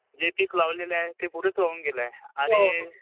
जे पीक लावलं आहे ते पुरंच वाहून गेलं आहे आणि